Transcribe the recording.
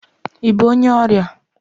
Ị bụ onye ọrịa?